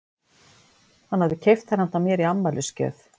Hann hafði keypt þær handa mér í afmælisgjöf.